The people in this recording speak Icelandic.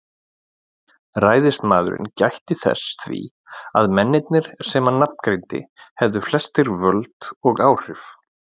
Ræðismaðurinn gætti þess því að mennirnir sem hann nafngreindi hefðu flestir völd og áhrif.